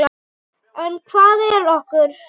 En hvað er okur?